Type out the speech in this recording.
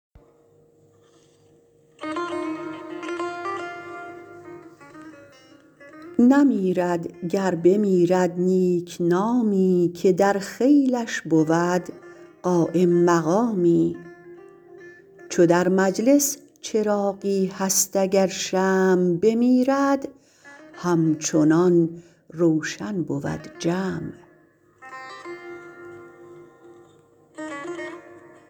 نمیرد گر بمیرد نیکنامی که در خیلش بود قایم مقامی چو در مجلس چراغی هست اگر شمع بمیرد همچنان روشن بود جمع